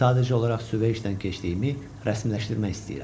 Sadəcə olaraq suveşdən keçdiyimi rəsmiləşdirmək istəyirəm.